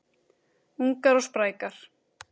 Ungar og sprækar